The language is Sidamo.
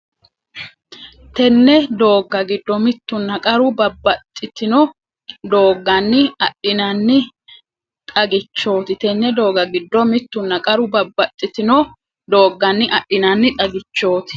Tenne doogga giddo mittunna qaru babbaxxitino doogganni adhinanni xag- ichooti Tenne doogga giddo mittunna qaru babbaxxitino doogganni adhinanni xag- ichooti.